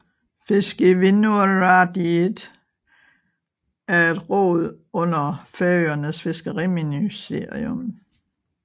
Fiskivinnuráðið er et råd under Færøernes Fiskeriministerium